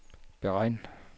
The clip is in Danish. beregn